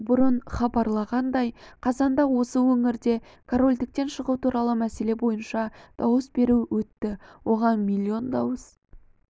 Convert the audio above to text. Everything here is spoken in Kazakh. бұрын хабарланғандай қазанда осы өңірде корольдіктен шығу туралы мәселе бойынша дауыс беру өтті оған миллион дауыс